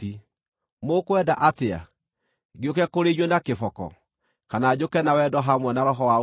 Mũkwenda atĩa? Ngĩũke kũrĩ inyuĩ na kĩboko, kana njũke na wendo hamwe na roho wa ũhooreri?